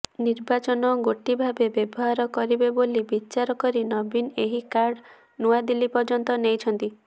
ନିର୍ବାଚନ େଗାଟି ଭାବେ ବ୍ୟବହାର କରିବ େବାଲି ବିଚାର କରି ନବୀନ ଏହି କାର୍ଡ ନୂଆଦିଲ୍ଲୀ ପର୍ଯ୍ୟନ୍ତ େନଇଛନ୍ତି